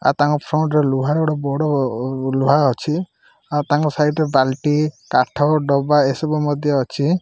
ଆଉ ତାଙ୍କ ଫ୍ରଣ୍ଡ୍ ରେ ଲୁହାରଡ୍ ବଡ଼ ଲୁହା ଅଛି ଆଉ ତାଙ୍କ ସାଇଡ ରେ ବାଲ୍ଟି କାଠ ଡବା ଏସବୁ ମଧ୍ୟ ଅଛି।